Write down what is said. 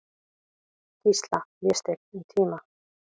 Gísla, Vésteinn, um tíma.